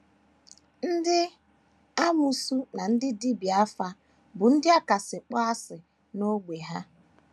Ndị amoosu na ndị dibịa afa bụ ndị a kasị akpọ asị n’ógbè ha.